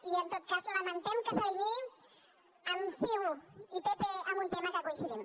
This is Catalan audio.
i en tot cas lamentem que s’alineï amb ciu i pp en un tema en què coincidim